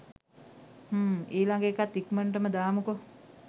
හ්ම් ඊලඟ එකත් ඉක්මනටම දාමුකො